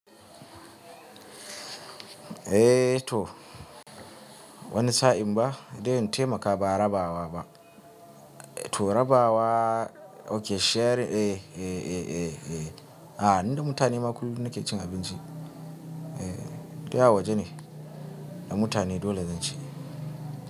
Eh to wani sa'in ba dai in taimaka ba rabawa ba. To rabawa, okay sharing eh, eh, eh, eh, eh. A'a, ni da mutane maƙullu nake cin abinci. Eh, to ya waje ne? Da mutane dole zan ci.